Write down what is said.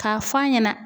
K'a f'a ɲɛna